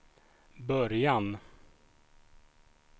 början